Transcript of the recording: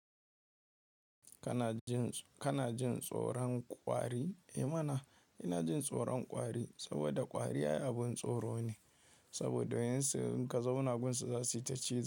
Kana jin, kana jin tsoron kwari? Eh mana, ina jin tsoron kwari saboda kwari ai abun tsoro ne. Saboda yin sa in ka zauna gun su zasu yi ta cizo.